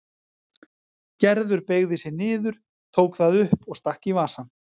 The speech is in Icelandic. Gerður beygði sig niður, tók það upp og stakk í vasann.